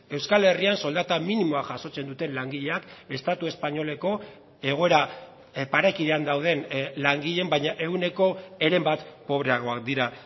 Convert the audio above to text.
euskal herrian soldata minimoa jasotzen duten langileak estatu espainoleko egoera parekidean dauden langileen baina ehuneko heren bat pobreagoak dira